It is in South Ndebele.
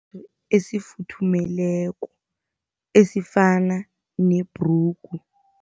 Esifuthumeleko esifana nebhrugu.